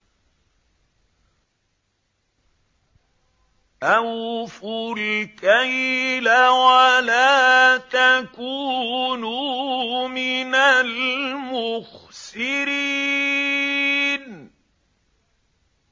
۞ أَوْفُوا الْكَيْلَ وَلَا تَكُونُوا مِنَ الْمُخْسِرِينَ